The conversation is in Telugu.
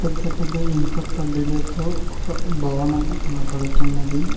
పెద్ద పెద్ద ఇనుప కడ్డిలతో ఒక భవనం కనపడుతున్నది.